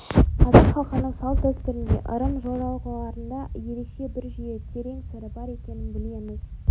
қазақ халқының салт-дәстүрінде ырым-жоралғыларында ерекше бір жүйе терең сыры бар екенін білеміз